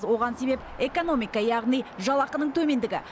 оған себеп экономика яғни жалақының төмендігі